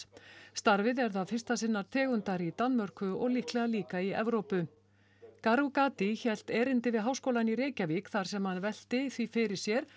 starfið er það fyrsta sinnar tegundar í Danmörku og líklega líka í Evrópu hélt erindi við Háskólann í Reykjavík þar sem hann velti því fyrir sér